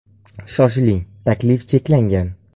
Shoshiling, takliflar cheklangan!